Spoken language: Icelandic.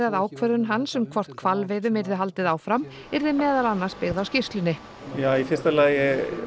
að ákvörðun hans um hvort hvalveiðum yrði haldið áfram yrði meðal annars byggð á skýrslunni í fyrsta lagi